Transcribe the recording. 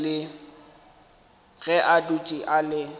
ge a dutše a le